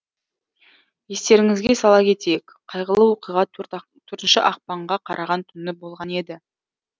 естеріңізге сала кетейік қайғылы оқиға төртінші ақпанға қараған түні болған еді